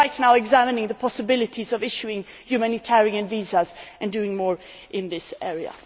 We are right now examining the possibilities of issuing humanitarian visas and doing more in this